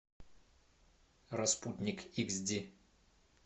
распутник икс ди